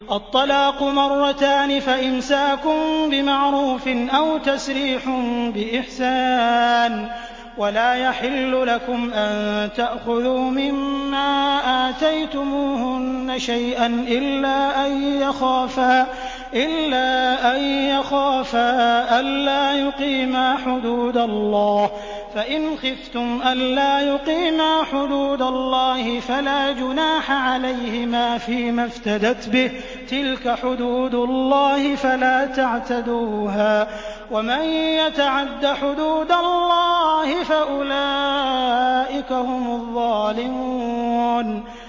الطَّلَاقُ مَرَّتَانِ ۖ فَإِمْسَاكٌ بِمَعْرُوفٍ أَوْ تَسْرِيحٌ بِإِحْسَانٍ ۗ وَلَا يَحِلُّ لَكُمْ أَن تَأْخُذُوا مِمَّا آتَيْتُمُوهُنَّ شَيْئًا إِلَّا أَن يَخَافَا أَلَّا يُقِيمَا حُدُودَ اللَّهِ ۖ فَإِنْ خِفْتُمْ أَلَّا يُقِيمَا حُدُودَ اللَّهِ فَلَا جُنَاحَ عَلَيْهِمَا فِيمَا افْتَدَتْ بِهِ ۗ تِلْكَ حُدُودُ اللَّهِ فَلَا تَعْتَدُوهَا ۚ وَمَن يَتَعَدَّ حُدُودَ اللَّهِ فَأُولَٰئِكَ هُمُ الظَّالِمُونَ